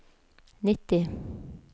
nitti